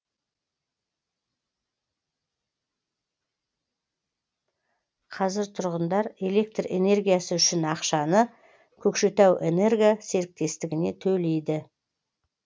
қазір тұрғындар электр энергиясы үшін ақшаны көкшетау энерго серіктестігіне төлейді